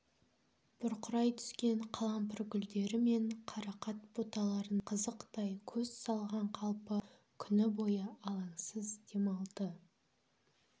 бұрқырай түскен қалампыр гүлдері мен қарақат бұталарына қызықтай көз салған қалпы күні бойы алаңсыз демалды